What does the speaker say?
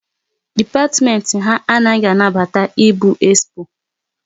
Dipatimenti ha anaghị anabata ịgbu expo